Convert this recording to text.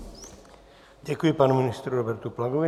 Děkuji panu ministru Robertu Plagovi.